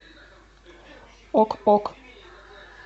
ок ок